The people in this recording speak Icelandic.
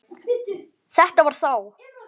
Þetta var þá